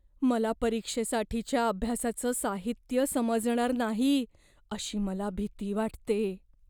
मला परीक्षेसाठीच्या अभ्यासाचं साहित्य समजणार नाही अशी मला भीती वाटते.